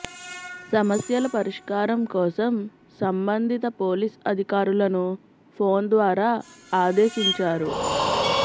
సమస్యల పరిష్కారం కోసం సంబంధిత పోలీస్ అధికారులను ఫోన్ ద్వారా ఆదేశించారు